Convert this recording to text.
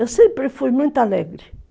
Eu sempre fui muito alegre.